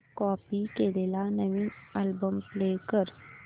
काल कॉपी केलेला नवीन अल्बम प्ले कर